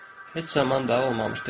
Heç zaman da olmamışdı.